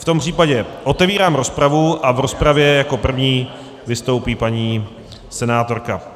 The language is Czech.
V tom případě otevírám rozpravu a v rozpravě jako první vystoupí paní senátorka.